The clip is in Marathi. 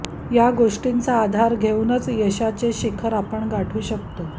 या गोष्टींचा आधार घेऊनच यशाचे शिखर आपण गाठू शकतो